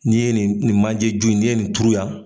N'i ye nin nin manjju in n'i ye nin turu yan.